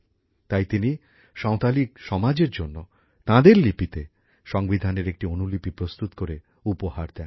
তাই তিনি সাঁওতালি সমাজের জন্য তাঁদের লিপিতে সংবিধানের একটি অনুলিপি প্রস্তুত করে উপহার দেন